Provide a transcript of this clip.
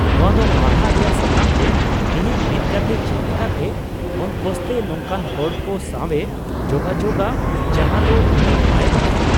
ᱱᱚᱶᱟ ᱫᱚ ᱦᱟᱦᱟᱲᱟ ᱨᱮᱭᱟᱜ ᱥᱟᱛᱟᱢ ᱡᱮ, ᱤᱧᱤᱡ ᱢᱤᱫ ᱜᱟᱛᱮ ᱪᱮᱫ ᱞᱮᱠᱟᱛᱮ ᱚᱞᱜᱚᱥᱛᱮ ᱱᱚᱝᱠᱟᱱ ᱦᱚᱲ ᱠᱚ ᱥᱟᱶᱮ ᱡᱳᱜᱟᱡᱳᱜᱽᱼᱟ ᱡᱟᱦᱟᱸ ᱫᱚ ᱩᱱᱤ ᱵᱟᱭ ᱵᱟᱰᱟᱭᱼᱟ ᱾